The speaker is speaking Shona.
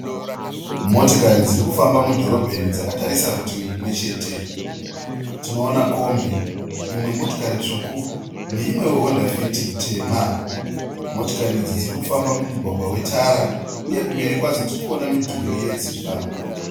Motikari dziri kufamba mudhorobheni dzakatarisa rutivi rumwe chete. Tinoona kombi, imwe motikari tsvuku neimwewo Honda Fit tema. Motikari idzi dziri kufamba mumugwagwa wetara uye kumberi kwadzo tiri kuona midhuri yedzimba.